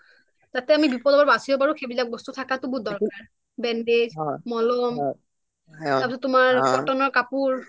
যাতে আমি বিপদৰ পৰা বাছিব পাৰোঁ সেইবিলাক বস্তু থকাটো বহুত দৰকাৰ যেনে bandage মলম তাতে তোমাৰ কটনৰ কাপোৰ